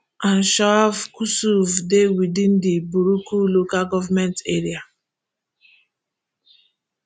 anshav kusuv dey within di buruku local goment area